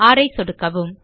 ர் ஐ சொடுக்வும்